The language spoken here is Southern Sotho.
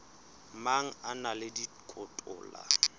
mang a na le dikotola